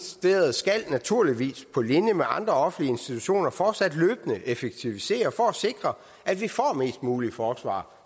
skal naturligvis på linje med andre offentlige institutioner fortsat løbende effektivisere for at sikre at vi får mest muligt forsvar